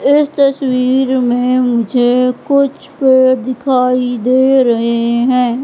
इस तस्वीर में मुझे कुछ पेड़ दिखाई दे रहे हैं।